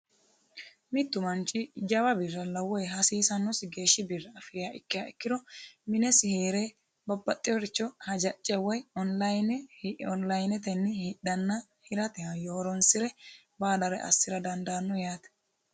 mittu manchi jawa birra woyi hasiisannosi geeshshiha afiriha ikkiha ikkiro, minesi heere babbaxeworicho hajacce woyi onlinetenni hidhanna hirate hayyo horonsire baalare assa dandaanno yaate.